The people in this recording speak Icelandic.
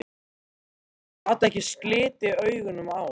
Gat ekki slitið augun af honum.